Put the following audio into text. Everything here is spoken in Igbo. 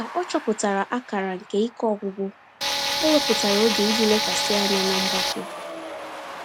Ka ọ chọpụtara akara nke ike ọgwụgwụ, o wepụtara oge iji lekwasị anya na mgbake.